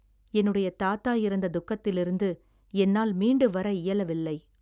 என்னுடைய தாத்தா இறந்த துக்கத்திலிருந்து என்னால் மீண்டு வர இயலவில்லை.